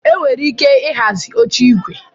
Enwere ike ịhazi oche igwe